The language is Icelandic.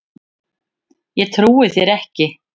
Ég trúi þér ekki!